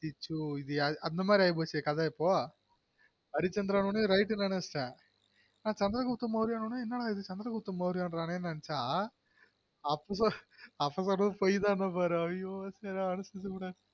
அச்சசொ இது யாரு அந்த மாதிரி ஆகி போச்சு கதை இப்பொ அரிசந்திரன் னொட ரவிசந்திரன வச்சுட்டன் ஆனா சந்திரகுப்த மௌரியார் நு நெனைச்சா அப்ப பொய் தான் பாரு